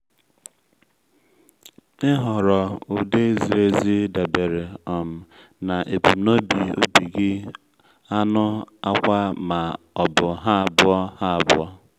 ịhọrọ ụdị ziri ezi dabere um na ebumnobi ubi gị anụ akwa ma ọ bụ ha abụọ ha abụọ